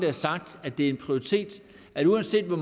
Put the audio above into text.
har sagt at det er en prioritet at uanset hvor